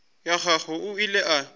ya gagwe o ile a